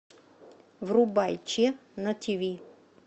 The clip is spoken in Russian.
врубай че на тв